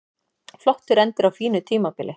Flottur endir á fínu tímabili